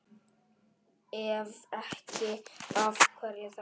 Ef ekki, af hverju þá?